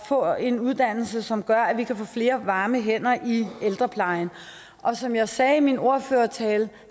få en uddannelse som gør at vi kan få flere varme hænder i ældreplejen og som jeg netop sagde i min ordførertale